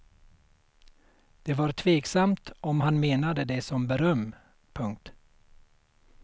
Det var tveksamt om han menade det som beröm. punkt